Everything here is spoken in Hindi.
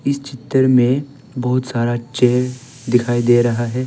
इस चित्र में बहुत सारा चेयर दिखाई दे रहा है।